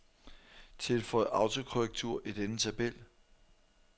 Tilføj autokorrektur i denne tabel.